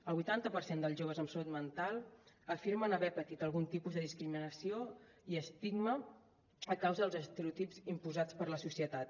el vuitanta per cent dels joves amb salut mental afirmen haver patit algun tipus de discriminació i estigma a causa dels estereotips imposats per la societat